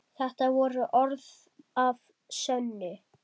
Þetta voru orð að sönnu.